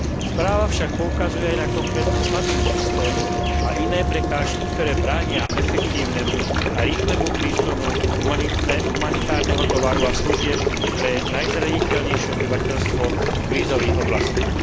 Správa však poukazuje aj na konkrétne slabiny systému a iné prekážky, ktoré bránia efektívnemu a rýchlemu prísunu humanitárneho tovaru a služieb pre najzraniteľnejšie obyvateľstvo v krízových oblastiach.